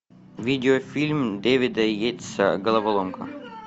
видеофильм дэвида йейтса головоломка